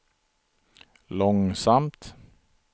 långsamt